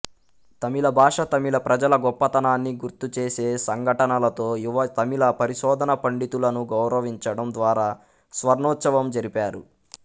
తమిళ భాష తమిళ ప్రజల గొప్పతనాన్ని గుర్తుచేసే సంఘటనలతో యువ తమిళ పరిశోధనా పండితులను గౌరవించడం ద్వారా స్వర్ణోత్సవం జరిపారు